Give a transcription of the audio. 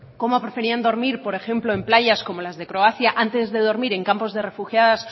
como preferían dormir por ejemplo en playas como las de croacia antes de dormir en campos de refugiados